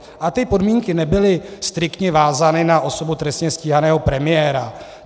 A ty podmínky nebyly striktně vázány na osobu trestně stíhaného premiéra.